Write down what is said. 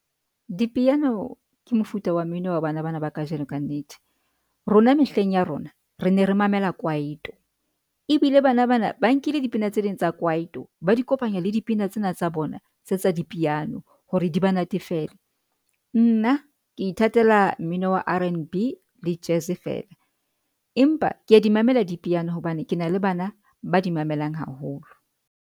Dipiano ke mofuta wa mmino wa bana bana ba kajeno ka nnete, rona mehleng ya rona re ne re mamela kwaito ebile bana bana ba nkile dipina tse ding tsa kwaito, ba di kopanya le dipina tsena tsa bona tse tsa dipiano hore di ba natefele. Nna ke ithatela mmino wa R_B le jazz fela, empa ke a di mamela dipiano hobane ke na le bana ba di mamelang haholo.